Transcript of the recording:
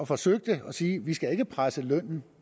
forsøgte at sige at vi ikke skal presse lønnen